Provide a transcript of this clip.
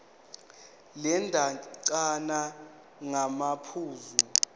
le ndatshana ngamaphuzu